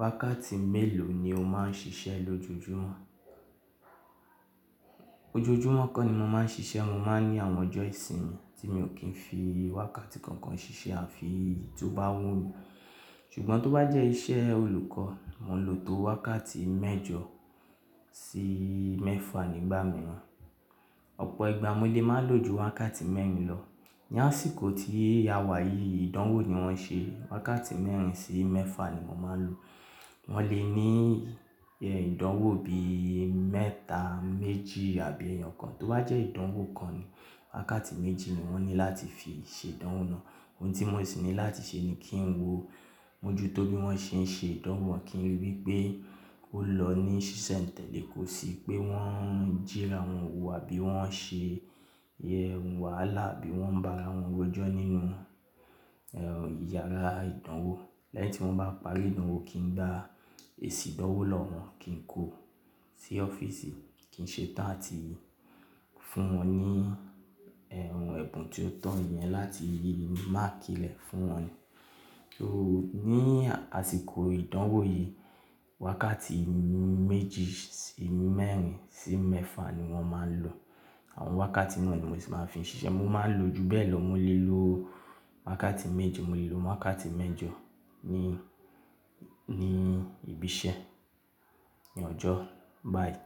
Wákàtí mélòó ni o máa ń ṣiṣẹ́ lójoojúmọ́? Ojoojúmọ́ kọ́ ni mo máa ń ṣiṣẹ́, mo máa ń ní àwọn ọjọ́ ìsinmi tí mi ò kí ń fi wákàtí kankan ṣiṣẹ́ àfi ií tó bá wù mí. Ṣùgbọ́n tó bá jẹ́ iṣẹ́ olùkọ́, mo lò tó wákàtí mẹ́jọ sí mẹ́fà nígbà mìíràn. Ọ̀pọ̀ ìgbà mo lè máa lò ju wákàtí mẹ́rin lọ. Tí a wà yìí, ìdánwò ni wọ́n ṣe. Wákàtí mẹ́rin sí mẹ́fà ni mo máa ń lò. Wọ́n lè ní ìdánwò bí mẹ́ta, méjì àbí ẹyọkan. Tó bá jẹ́ ìdánwò kan ni wákàtí méjì ni wọ́n ní láti fi ṣe ìdánwò náà. Ohun tí mo sì ní láti ṣe ni kí n wo mọ́jútó bí wọ́n ṣe ń ṣe ìdánwò wọn kí n ríi wí pé ó lọ ní ṣíṣe n tẹ̀lé, kó si pé wọ́n ń jíra àwọn ohun àbí wọ́n ń ṣe ẹh, àwọn wàhálà àbí wọ́n ń ba àrawọn rojọ nínú eh yàrá ìdánwò. Lẹ́yìn tí wọ́n bá parí ìdánwò, kí n dá èsìn ìdánwò lọ́wọ́ wọn, kí n kó sí ọ́fíìsì, kí n ṣetán àti fún wọn ní ẹh ẹbun tí ó tọ̀ eniyẹn láti máàkì rẹ̀ fún wọn ni. Ó ní àsìkò ìdánwò yìí, wákàtí méjì sí mẹ́rin sí mẹ́fà ni wọ́n máa ń lò. Àwọn wákàtí náà ni mo sì máa ń fi ṣiṣẹ́. Mo máa ń lo ju bẹ́ẹ̀ lọ, mo lè lo wákàtí méje, mo lè lo wákàtí mẹ́jọ ní, ní ibi iṣẹ́ ní ọjọ́ báyìí.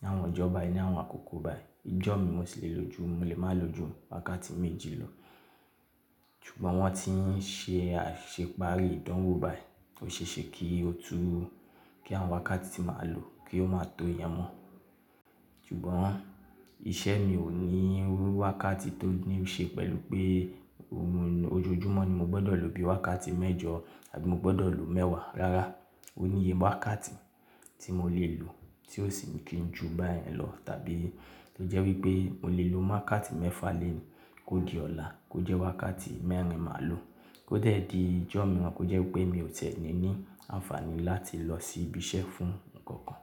Ni àwọn ọjọ́ báyìí ní àwọn àkókò báyìí. Ijọ́ mi mo sì lè lo ju, mo lè máa lo ju wákàtí méjì lọ. Ṣùgbọ́n wọ́n tí ń ṣe àṣepààrì ìdánwò báyìí, ó ṣe é ṣe kí ó tó, kí àwọn wákàtí tí màá lò kí ó máa tó yẹn mọ́. Ṣùgbọ́n iṣẹ́ mi ò ní wákàtí tó níí ṣe pẹ̀lú pé ó mú ní ojoojúmọ́ ni mo gbọ́dọ̀ lò bí i wákàtí mẹ́jọ àbí mo gbọ́dọ̀ lò mẹ́wàá. Rárá, òníye wákàtí tí mo lè lò tí ó sì ní kí n ju báyìí lọ tàbí lè jẹ́ wí pé mo lè lo wákàtí mẹ́fà lẹ́yìn kó di ọ̀la kó jẹ́ wákàtí mẹ́rin màá lò kó eẹ́ di ijọ́ mìíràn kó jẹ́ wí pé mi ò tiẹ́ni ní àǹfààní láti lọ sí ibi iṣẹ́ fún nǹkan kan.